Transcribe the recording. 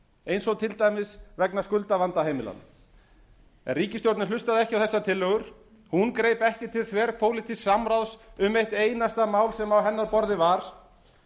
eins og til dæmis vegna skuldavanda heimilanna en ríkisstjórnin hlustaði ekki á þessar tillögur hún greip ekki til þverpólitísks samráðs um eitt einasta mál sem á hennar borði var